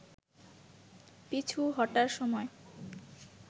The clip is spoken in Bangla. পিছু হটার সময়